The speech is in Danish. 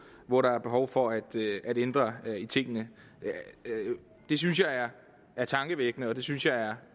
hvor der er behov for at ændre i tingene det synes jeg er tankevækkende og det synes jeg er